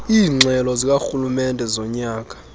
iingxelo zikarhulumente zonyaka